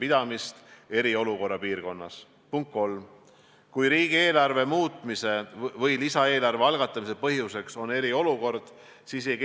Kas valitsus on üksmeelel, mis on need konkreetsed tingimused, milleni see haiguspuhang peaks jõudma, selleks et oleks tarvis välja kuulutada eriolukord?